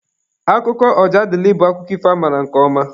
Akụkọ Ojadịlị bụ akụkọ ifo amaara nke ọma.